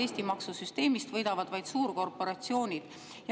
Eesti maksusüsteemist võidavad vaid suurkorporatsioonid.